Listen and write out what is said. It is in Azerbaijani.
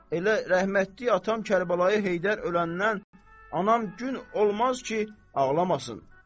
Elə rəhmətlik atam Kərbəlayı Heydər öləndən anam gün olmaz ki, ağlamasın.